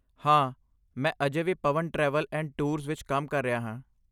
ਹਾਂ, ਮੈਂ ਅਜੇ ਵੀ ਪਵਨ ਟਰੈਵਲ ਐਂਡ ਟੂਰਸ ਵਿੱਚ ਕੰਮ ਕਰ ਰਿਹਾ ਹਾਂ।